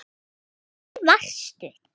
Því það varstu.